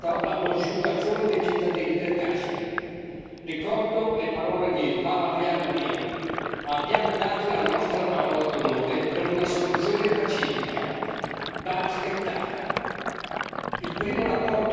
Dall'altro, è del tutto mancata la consultazione dei cittadini del Kashmir. Ricordo le parole di Jawaharlal Nehru abbiamo dato la nostra parola d'onore per una soluzione pacifica, va rispettata.